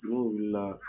N'o wulila